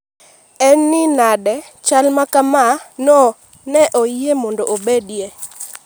en ni nade chal makama ne oyie mondo obedie?